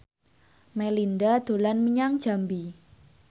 Melinda dolan menyang Jambi